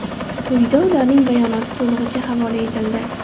Quyida ularning bayonoti to‘lig‘icha havola etildi.